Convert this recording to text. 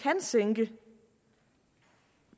kan